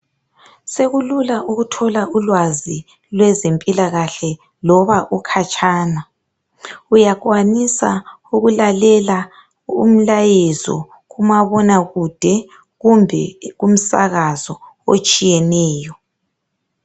Sekulula ukuthola ulwazi lwezempilakahle loba ukhatshana, uyakwanisa ukulalela umlayezo kumabonakude kumbe kumsakazo otshiyeneyo.